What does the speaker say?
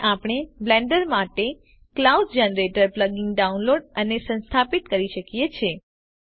અહીં આપણે બ્લેન્ડર માટે ક્લાઉડ જનરેટર પ્લગઇન ડાઉનલોડ અને સંસ્થાપિત કરી શકીએ છે